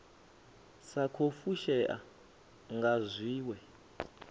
sa khou fushea nga zwiwe